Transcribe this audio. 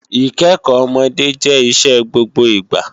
Ìkẹ́kọ́ ọmọdé jẹ́ iṣẹ́ gbogbo ìgbà